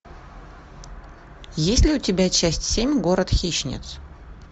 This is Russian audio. есть ли у тебя часть семь город хищниц